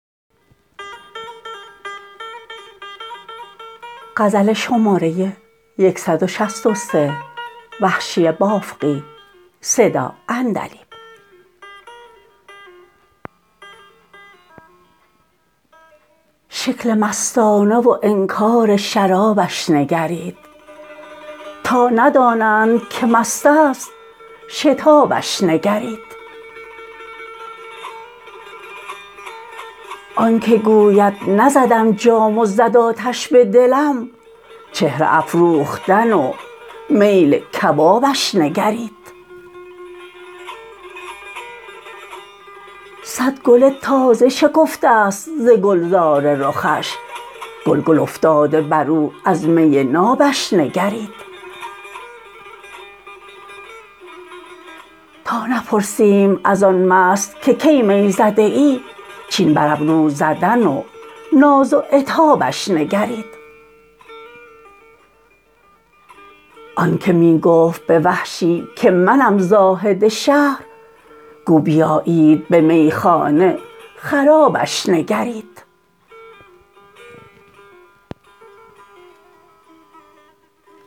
شکل مستانه و انکار شرابش نگرید تا ندانند که مست است شتابش نگرید آنکه گوید نزدم جام و زد آتش به دلم چهره افروختن و میل کبابش نگرید سد گل تازه شکفته ست ز گلزار رخش گل گل افتاده برو از می نابش نگرید تا نپرسیم از آن مست که کی می زده ای چین بر ابرو زدن و ناز و عتابش نگرید آنکه می گفت به وحشی که منم زاهد شهر گو بیایید به میخانه خرابش نگرید